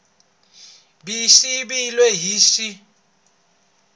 b yi siviwile hi x